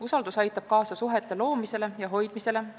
Usaldus aitab kaasa suhete loomisele ja hoidmisele.